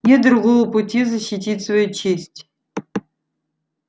нет другого пути защитить свою честь